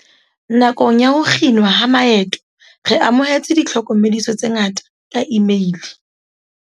"Nakong ya ho kginwa ha maeto re amohetse ditlhoko mediso tse ngata ka imeile."